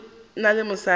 ga go na le mosadi